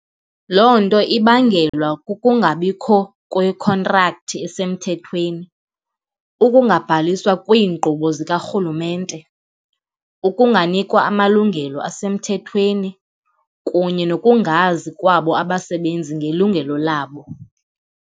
Loo nto ibangelwa kukungabikho kwekhontrakthi esemthethweni, ukungabhaliswa kwiinkqubo zikarhulumente, ukunganikwa amalungelo asemthethweni kunye nokungazi kwabo abasebenzi ngelungelo labo.